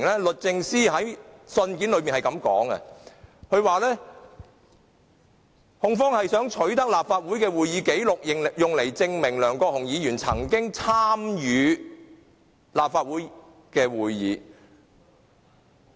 律政司在信件中說：控方想取得立法會的會議紀錄，用來證明梁國雄議員曾經參與立法會會議。